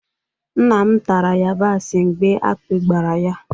Nna m tara yabasị mgbe akpị gbara ya